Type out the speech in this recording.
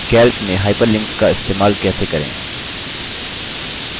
calc में hyperlinks का इस्तेमाल कैसे करें